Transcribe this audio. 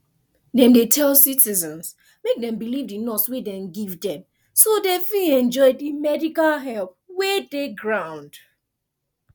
dem dey tell citizens make dem believe di nurse wey dem give dem so dem fit enjoy di medical help wey dey ground